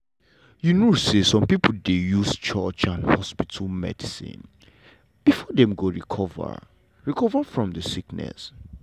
you know say some pipo dey use church and hospital medicine before dem go recover recover from de sickness.